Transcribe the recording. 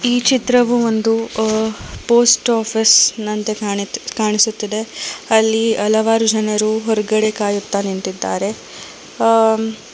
ಈ ಚಿತ್ರವು ಒಂದು ಅ ಪೋಸ್ಟ್ ಆಫೀಸ ನಂತೆ ಕಾಣಿತ್ ಕಾಣಿಸುತ್ತದೆ ಅಲ್ಲಿ ಹಲವಾರು ಜನರು ಹೊರಗಡೆ ಕಾಯುತ್ತಾ ನಿಂತಿದ್ದಾರೆ ಅ--